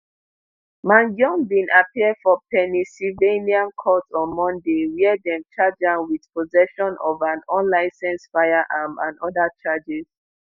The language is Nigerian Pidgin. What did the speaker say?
mangione bin appear for pennsylvania court on monday wia dem charge am wit possession of an unlicensed firearm and oda charges